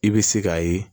I bɛ se k'a ye